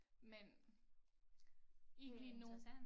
Men ikke lige nu